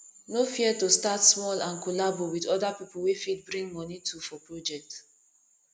no fear to start small and collabo with other pipo wey fit bring moni too for project